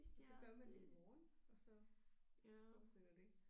Og så gør man det i morgen og så fortsætter det